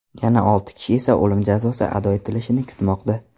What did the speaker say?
Yana olti kishi esa o‘lim jazosi ado etilishini kutmoqda.